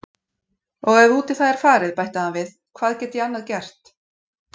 Og ef út í það er farið bætti hann við, hvað get ég annað gert?